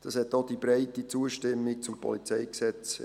Das hat auch die breite Zustimmung zum PolG ergeben.